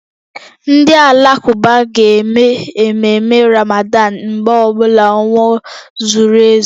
Ndị Alakụba ga-eme ememme Ramadan mgbe ọ bụla ọnwa zuru ezu